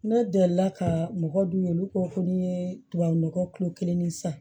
Ne delila ka mɔgɔ dun olu ko ko n'i ye tubabu nɔgɔ kelen ni san